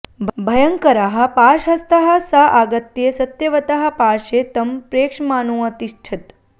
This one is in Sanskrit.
भयङ्करः पाशहस्तः स आगत्य सत्यवतः पार्शे तं प्रेक्षमाणोऽतिष्ठत्